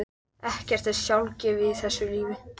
Ekkert er sjálfgefið í þessu lífi.